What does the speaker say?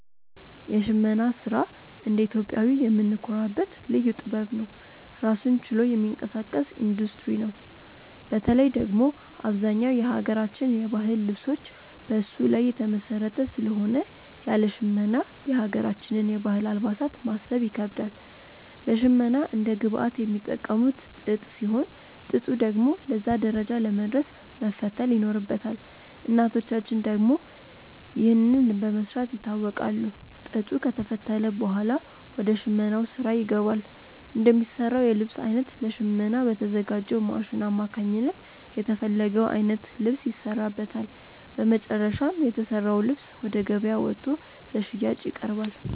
የሽመና ስራ እንደ ኢትዮጵያዊ የምንኮራበት ልዩ ጥበብ ነው። ራሱን ችሎ የሚንቀሳቀስ ኢንዱስትሪ ነው። በተለይ ደግሞ አብዛኛው የሀገራችን የባህል ልብሶች በሱ ላይ የተመሰረተ ስለሆነ ያለ ሽመና የሀገራችንን የባህል አልባሳት ማሰብ ይከብዳል። ለሽመና እንደ ግብአት የሚጠቀሙት ጥጥ ሲሆን፣ ጥጡ ደግሞ ለዛ ደረጃ ለመድረስ መፈተል ይኖርበታል። እናቶቻችን ደግሞ ይህንን በመስራት ይታወቃሉ። ጥጡ ከተፈተለ ብኋላ ወደ ሽመናው ስራ ይገባል። እንደሚሰራው የልብስ አይነት ለሽመና በተዘጋጅው ማሽን አማካኝነት የተፈለገው አይነት ልብስ ይሰራበታል። በመጨረሻም የተሰራው ልብስ ወደ ገበያ ወጥቶ ለሽያጭ ይቀርባል።